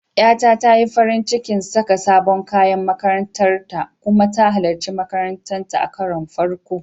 Ƴata ta yi farin cikin saka sabon kayan makarantar ta kuma ta halarci makaranta a karon farko.